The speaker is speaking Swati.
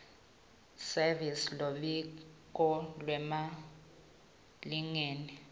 service luphiko lwemalingena